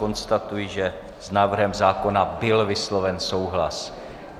Konstatuji, že s návrhem zákona byl vysloven souhlas.